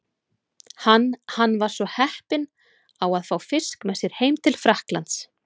Hann hann var svo heppinn á að fá fisk með sér heim til Frakklands.